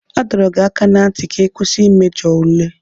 A dọrọ gị aka ná ntị ka ị kwụsị mmejọ ule.